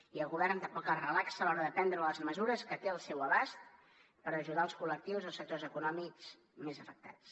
i el govern tampoc es relaxa a l’hora de prendre les mesures que té al seu abast per ajudar els col·lectius els sectors econòmics més afectats